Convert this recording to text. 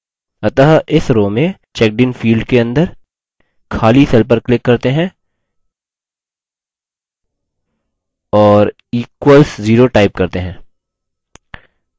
अतः इस row में checkedin field के अंदर खाली cell पर click करते हैं